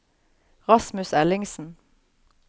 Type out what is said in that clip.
Rasmus Ellingsen